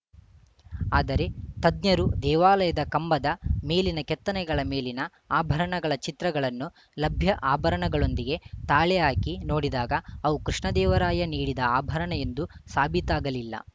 ಆದರೆ ತಜ್ಞರು ದೇವಾಲಯದ ಕಂಬದ ಮೇಲಿನ ಕೆತ್ತನೆಗಳ ಮೇಲಿನ ಆಭರಣಗಳ ಚಿತ್ರಗಳನ್ನು ಲಭ್ಯ ಆಭರಣಗಳೊಂದಿಗೆ ತಾಳೆ ಹಾಕಿ ನೋಡಿದಾಗ ಅವು ಕೃಷ್ಣದೇವರಾಯ ನೀಡಿದ ಆಭರಣ ಎಂದು ಸಾಬೀತಾಗಲಿಲ್ಲ